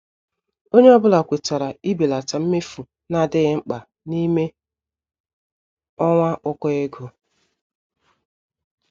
Ònye ọ́bụ̀la kwètàrà ibèlata mmefu na-adịghị mkpa n'ime ọnwa ụkọ ego.